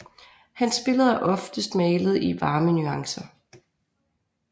Hans billeder er oftest malet i varme nuancer